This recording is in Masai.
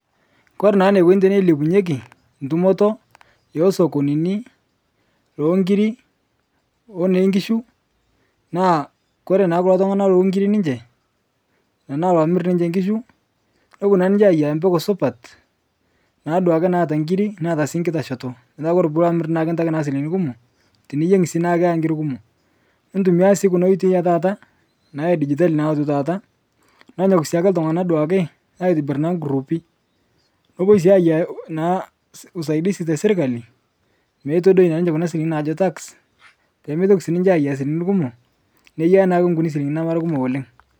Kore naa neikoni teneilepunyeki tumoto, esokonini, eonkiri onenkishu, naa kore naa kulo tung'ana lookiri ninche tanaa loomir ninche nkishu nopo naa ninche ayaia mpeko supat naa duake naata ngiri neata sii nkitashoto petaa naa kore puloo amir naa kitaki naa silinkini kumo, tiniyeng' sii naa keata ngiri kumo. Nitumiyaa sii kuna oitoi etata naa edijitali naoto taata nonyok sii ltung'ana sii duake aitibir naa nkuruupi, nepoi naa ayaia naa usaidisi teserkali meitodoi naa ninche kuna silinkini naajo tax peemetoki sii ninye ayaia silinkini kumo, neiya naake nkuni silinkini namara kumok oleng'